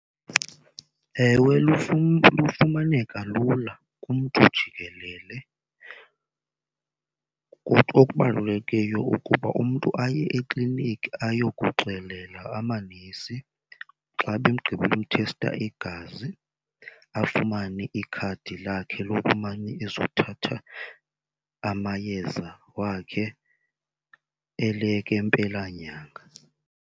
Ewe, lufumaneka lula kumntu jikelele. Kumntu okubalulekileyo ukuba umntu aye ekliniki ayokuxelela amanesi. Xa begqibile uthesta igazi afumane ikhadi lakhe lokumane ezothatha amayeza wakhe eleke mpelanyanga.